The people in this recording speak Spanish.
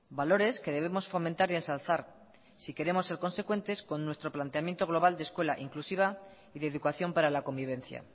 valores que debemos fomentar y ensalzar si queremos ser consecuentes con nuestro planteamiento global de escuela inclusiva y de educación para la convivencia